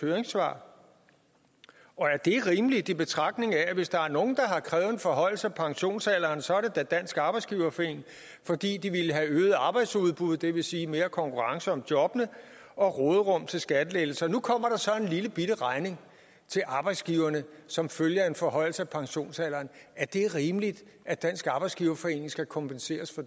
høringssvar er det rimeligt i betragtning af at hvis der er nogen der har krævet en forhøjelse af pensionsalderen så er det da dansk arbejdsgiverforening fordi de vil have øget arbejdsudbuddet det vil sige mere konkurrence om jobbene og råderum til skattelettelser nu kommer der så en lillebitte regning til arbejdsgiverne som følge af en forhøjelse af pensionsalderen er det rimeligt at dansk arbejdsgiverforening skal kompenseres for